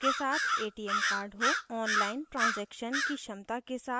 online transaction की क्षमता के साथ bank खाता